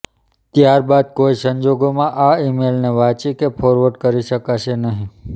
ત્યાર બાદ કોઇ સંજોગોમાં આ ઇમેલને વાંચી કે ફોરવર્ડ કરી શકાશે નહીં